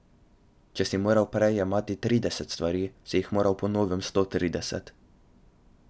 Če si moral prej jemati trideset stvari, si jih moral po novem sto trideset.